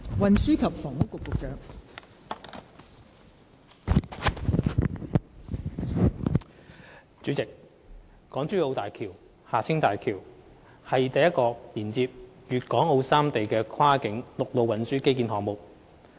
代理主席，港珠澳大橋是首個連接粵港澳三地的跨境陸路運輸基建項目。